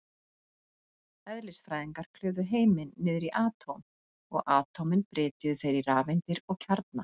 Eðlisfræðingar klufu heiminn niður í atóm, og atómin brytjuðu þeir í rafeindir og kjarna.